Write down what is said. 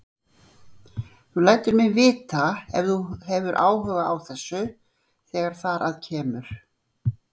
Þú lætur mig vita, ef þú hefur áhuga á þessu, þegar þar að kemur